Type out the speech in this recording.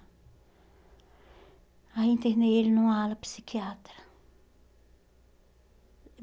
Aí eu internei ele numa ala psiquiatra.